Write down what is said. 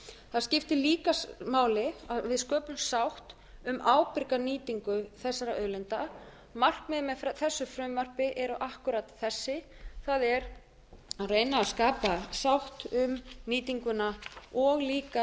það skiptir líka máli að við sköpum sátt um ábyrga nýtingu þessara auðlinda markmiðin með þessu frumvarpi eru akkúrat þessi það er að reyna að skapa sátt um nýtinguna og líka að